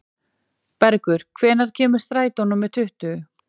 Bergur, hvenær kemur strætó númer tuttugu?